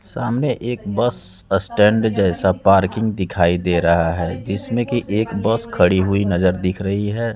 सामने एक bus stand जैसा पार्किंग दिखाई दे रहा है जिसमें कि एक बस खड़ी हुई नजर दिख रही है।